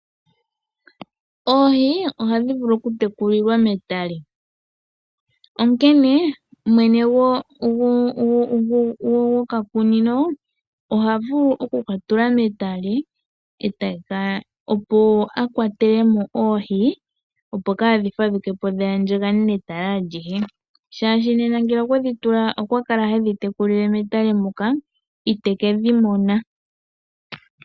Oohi oha dhi vulu oku tekulilwa metale, onkene mwene gwokakunino oha vulu oku ka tula metale e te ka opo akwatele mo oohi opo kaadhi fadhukepo dhi andjagane netale alihe, shaashi nena ngele okwa kala hedhi tekulile metale muka iteke dhi mona.